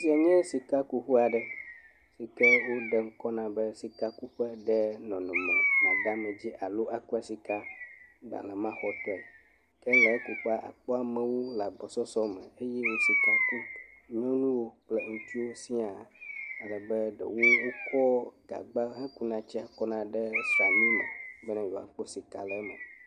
Esia nye sikakuƒe aɖe si ke woɖe ŋkɔ na be Sikakuƒe ɖe nɔnɔme madeamedzi alo akua sika gbalẽmaxɔtɔe. Ke le ekuƒea, akpɔ amewo le agbɔsɔsɔ me eye wo sika kum. Nyɔnuwo kple ŋutsuwo siaa. Alebe ɖewo wokɔ gagba ekuna tsia kɔna ɖe srami me be yewoakpɔ sika le eme.